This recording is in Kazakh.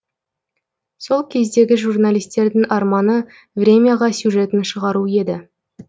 сол кездегі журналистердің арманы времяға сюжетін шығару еді